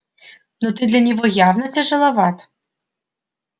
но ты для него явно тяжеловат